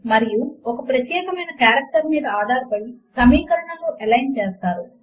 మరియు ఒక ప్రత్యేకమైన కారెక్టర్ మీద ఆధారపడి సమీకరణములను ఎలైన్ చేస్తారు